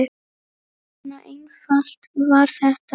Svona einfalt var þetta.